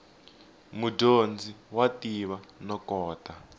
mudyondzi wa tiva no kota